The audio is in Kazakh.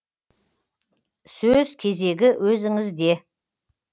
сөз кезегі өзіңізде